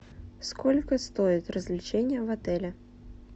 сколько стоят развлечения в отеле